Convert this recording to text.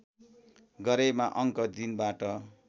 गरेमा अङ्क दिनबाट